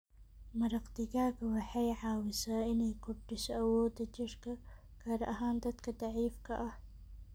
Maraq digaaga waxay caawisaa inay kordhiso awooda jidhka, gaar ahaan dadka daciifka ah.